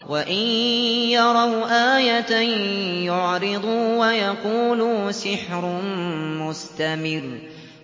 وَإِن يَرَوْا آيَةً يُعْرِضُوا وَيَقُولُوا سِحْرٌ مُّسْتَمِرٌّ